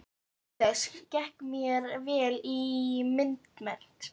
Auk þess gekk mér vel í myndmenntinni.